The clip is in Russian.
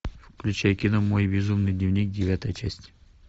включай кино мой безумный дневник девятая часть